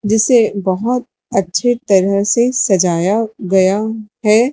जिसे बहोत अच्छे तरह से सजाया गया हैं।